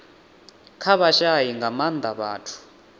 kha vhashai nga maanda vhathu